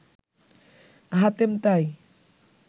হাতেম তাই